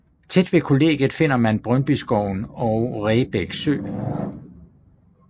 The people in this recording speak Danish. Tæt ved kollegiet finder man Brøndbyskoven og Rebæk sø